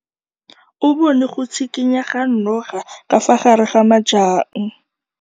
O bone go tshikinya ga noga ka fa gare ga majang.